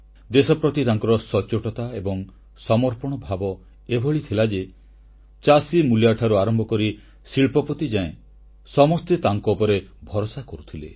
ଦେଶ ପ୍ରତି ତାଙ୍କର ସଚ୍ଚୋଟତା ଏବଂ ସମର୍ପଣ ଭାବ ଏଭଳି ଥିଲା ଯେ ଚାଷୀମୂଲିଆଠାରୁ ଆରମ୍ଭ କରି ଶିଳ୍ପପତି ଯାଏ ସମସ୍ତେ ତାଙ୍କ ଉପରେ ଭରସା କରୁଥିଲେ